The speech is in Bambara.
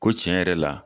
Ko tiɲɛ yɛrɛ la